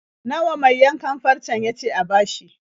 Nawa mai yankan farcen ya ce a bashi?